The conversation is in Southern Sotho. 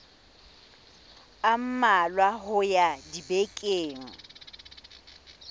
a mmalwa ho ya dibekeng